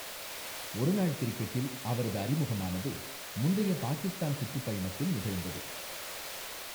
ஒருநாள் கிரிக்கெட்டில் அவரது அறிமுகமானது முந்தைய பாகிஸ்தான் சுற்றுப்பயணத்தில் நிகழ்ந்தது.